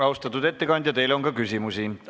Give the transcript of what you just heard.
Austatud ettekandja, teile on ka küsimusi.